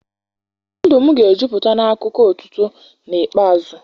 Ndụ m ga-ejupụta n'akụkọ otuto n'ikpeazụ.